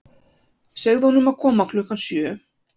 Segðu honum að koma klukkan sjö.